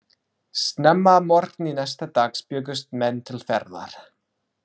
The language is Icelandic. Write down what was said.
Snemma að morgni næsta dags bjuggust menn til ferðar.